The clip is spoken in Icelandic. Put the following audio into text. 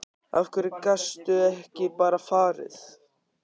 Af hverju gastu ekki bara farið?